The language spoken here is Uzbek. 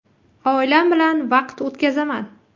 Oilam bilan vaqt o‘tkazaman.